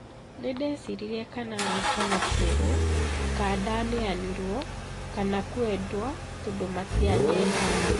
Nĩndecirirĩe kana kanateirwe ,kadaneanirwe kana kwendua tondũ matĩanyendaga"